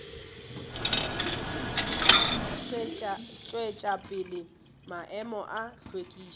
tšwetša pele maemo a hlwekišo